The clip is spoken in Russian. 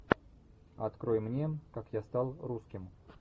открой мне как я стал русским